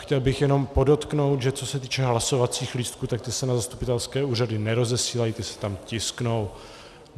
Chtěl bych jen podotknout, že co se týče hlasovacích lístků, tak ty se na zastupitelské úřady nerozesílají, ty se tam tisknou.